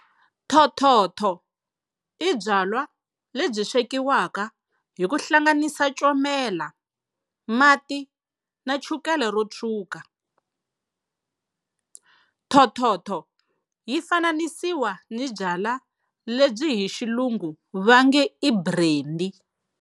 Thothotho i byalwa lebyi swekiwaka hi ku hlanganisa comela, mati na chukele ro tshwuka. Thothotho yi fananisiwa ni byalwa lebyi hi xilungu vange i Brendi.